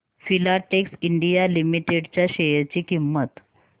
Filatex India limited च्या share ची किंमत